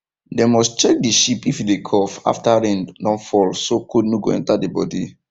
dem must check the sheep if e dey cough after rain don fall so cold no go enter the body